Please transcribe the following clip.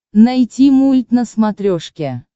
найти мульт на смотрешке